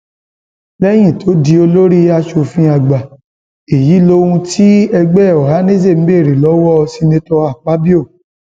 lẹyìn tó di olórí asòfin àgbà èyí lohun tí ẹgbẹ ohanaeze béèrè lọwọ seneto akpabio